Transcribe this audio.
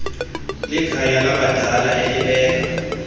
likhaya labadala elibeka